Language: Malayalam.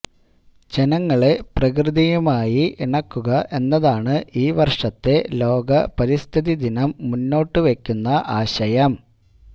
ജനങ്ങളെ പ്രകൃതിയുമായി ഇണക്കുക എന്നതാണ് ഈ വർഷത്തെ ലോക പരിസ്ഥിതിദിനം മുന്നോട്ട് വയ്ക്കുന്ന ആശയം